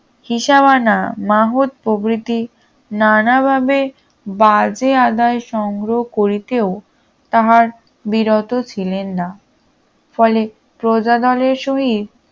হিসাবানা মহৎ প্রবৃতির নানা ভাবে বাজে আদায় সংগ্রহ করিতেও তাহার বিরত ছিলেন না ফলে প্রজাদলের সহিত